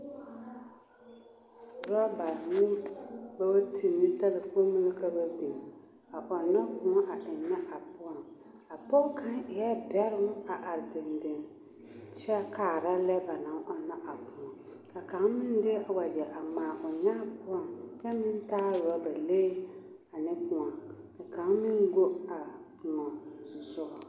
Rɔbare ne bootiri ne talkponni ka ba biŋ a ɔnnɔ kõɔ a ennɛ a poɔŋ, a pɔge kaŋ eɛɛ bɛroŋ a are dendeŋ kyɛ kaara lɛ ba naŋ ɔnnɔ a kõɔ ka kaŋ meŋ de wagyɛ a ŋmaa o nyaa poɔŋ kyɛ meŋ taa roba lee ane kõɔ, ka kaŋ meŋ go a kõɔ zusogɔŋ.